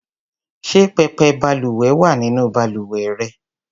Ṣé pẹpẹ balùwẹ̀ wà nínú balùwẹ̀ rẹ?